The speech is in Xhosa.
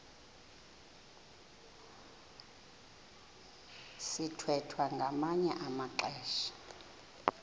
sithwethwa ngamanye amaxesha